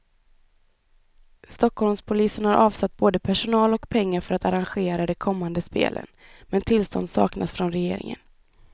Stockholmspolisen har avsatt både personal och pengar för att arrangera de kommande spelen, men tillstånd saknas från regeringen.